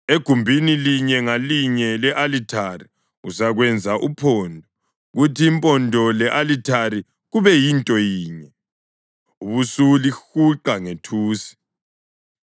Egumbini linye ngalinye le-alithari uzakwenza uphondo, kuthi impondo le-alithari kube yinto yinye, ubusulihuqa ngethusi.